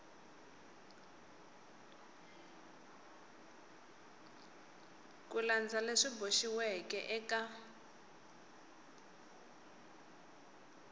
ku landza leswi boxiweke eka